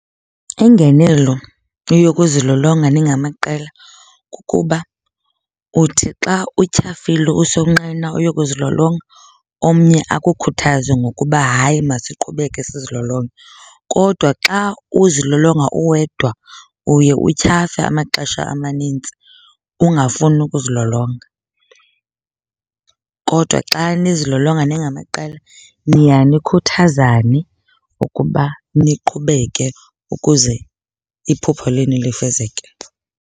Ingenelo yokuzilolonga ningamaqela kukuba uthi xa utyhafile usonqena uyokuzilolonga omnye akukhuthaze ngokuba hayi masiqhubeke sizilolonga. Kodwa xa uzilolonga uwedwa uye utyhafe amaxesha amanintsi, ungafuni ukuzilolonga. Kodwa xa nizilolonga ningamaqela niya nikhuthazane ukuba niqhubeke ukuze iphupha lenu lifezeke.